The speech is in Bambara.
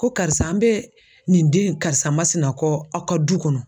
Ko karisa an bɛ nin den karisa masina kɔ aw ka du kɔnɔ.